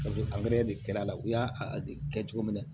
de kɛra a la u y'a kɛ cogo min na